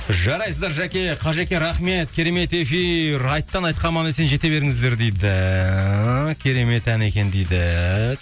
жарайсыздар жәке қажеке рахмет керемет эфир айттан айтқа аман есен жете беріңіздер дейді керемет ән екен дейді